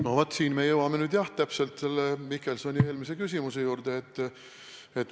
No vaat, nüüd me jõuame Mihkelsoni eelmise küsimuse juurde.